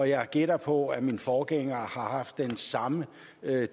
jeg gætter på at min forgænger har haft den samme